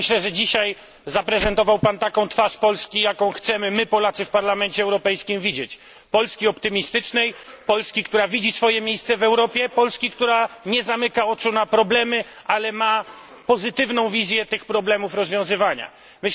Myślę, że dzisiaj zaprezentował Pan taką twarz Polski, jaką chcemy my Polacy w Parlamencie Europejskim widzieć Polski optymistycznej, Polski, która widzi swoje miejsce w Europie, Polski, która nie zamyka oczu na problemy, ale ma pozytywną wizję rozwiązywania tych problemów.